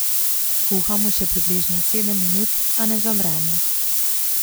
Kuhamo še približno sedem minut, a ne zavremo.